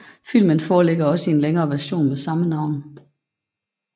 Filmen foreligger også i en længere version med samme navn